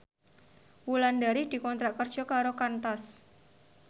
Wulandari dikontrak kerja karo Qantas